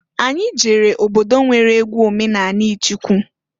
Anyị jere obodo nwere egwu omenani ịchịkụ.